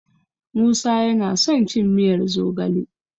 Musa yana son cin miyar zogale.